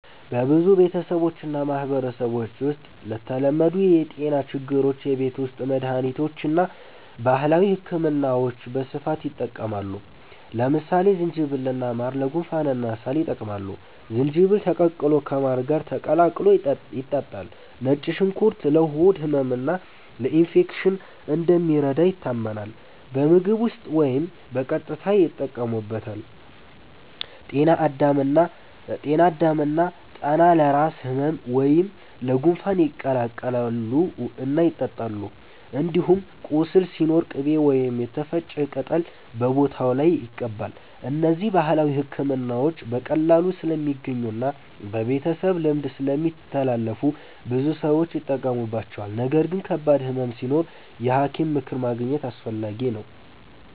በብዙ ቤተሰቦችና ማህበረሰቦች ውስጥ ለተለመዱ የጤና ችግሮች የቤት ውስጥ መድሃኒቶችና ባህላዊ ሕክምናዎች በስፋት ይጠቀማሉ። ለምሳሌ ዝንጅብልና ማር ለጉንፋንና ሳል ይጠቅማሉ፤ ዝንጅብል ተቀቅሎ ከማር ጋር ተቀላቅሎ ይጠጣል። ነጭ ሽንኩርት ለሆድ ህመምና ለኢንፌክሽን እንደሚረዳ ይታመናል፤ በምግብ ውስጥ ወይም በቀጥታ ይጠቀሙበታል። ጤና አዳም እና ጠና ለራስ ህመም ወይም ለጉንፋን ይቀቀላሉ እና ይጠጣሉ። እንዲሁም ቁስል ሲኖር ቅቤ ወይም የተፈጨ ቅጠል በቦታው ላይ ይቀባል። እነዚህ ባህላዊ ሕክምናዎች በቀላሉ ስለሚገኙና በቤተሰብ ልምድ ስለሚተላለፉ ብዙ ሰዎች ይጠቀሙባቸዋል። ነገር ግን ከባድ ህመም ሲኖር የሐኪም ምክር ማግኘት አስፈላጊ ነው።